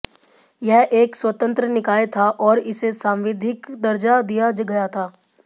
यह एक स्वतंत्र निकाय था और इसे सांविधिक दर्जा दिया गया था